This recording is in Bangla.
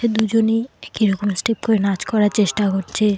দুজনে একি রকম স্টেপ করে নাচ করার চেষ্টা করছে।